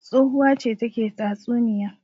Tsohuwa ce take tatsuniya.